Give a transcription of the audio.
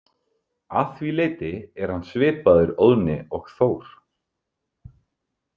Að því leyti er hann svipaður Óðni og Þór.